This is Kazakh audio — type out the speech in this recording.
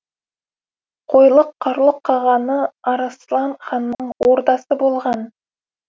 қойлық қарлұқ қағаны арыслан ханның ордасы болған